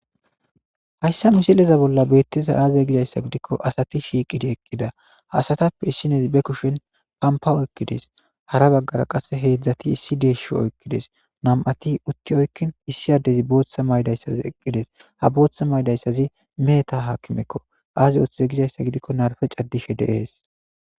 Hayssa misileza bolla beettiza aaze gizayssa gidikko asati shiiqidi eqqida haasatappe issinezi be kushen pampawo ekkides hara baggara qasse heedzdzati issi deeshsho oykkides nam'ati utti oykkin issi addezi booththa maydayssazi eqqides ha booththa maydayssazi meeta haakimekko aaze uttiza gizayssa gidikko narfe caddishe deees.